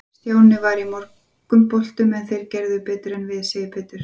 Stjáni var í mörgum boltum en þeir gerðu betur en við, sagði Pétur.